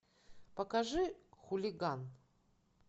покажи хулиган